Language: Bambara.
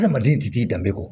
Adamaden ti t'i danbe kɔ